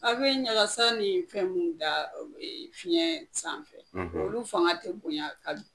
A be ɲagasa ni fɛn mun da ee fiɲɛn sanfɛ olu fanga tɛ bonɲa